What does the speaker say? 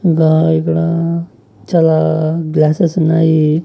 ఇంగా ఇక్కడ చాలా గ్లాసెస్ ఉన్నాయి.